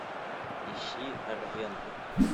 ищи арвентур